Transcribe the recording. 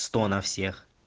сто на всех